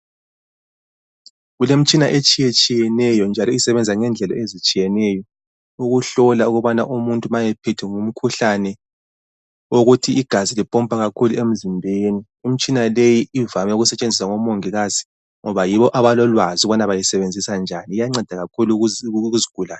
Kulemitshina etshiyetshiyeneyo, njalo isebenza ngendlela ezitshiyeneyo. Ukuhlola ukubana umuntu uma ephethwe ngumkhuhlane wokuthi igazi lipompa kakhulu emzimbeni. Imitshina yonale, ivame ukutshenziswa ngomongikazi, ngoba yibo abalolwazi ukubana bayisebenzisa njani. Iyanceda kakhulu kuzigulane.